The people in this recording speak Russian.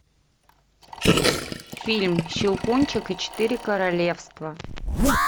фильм щелкунчик и четыре королевства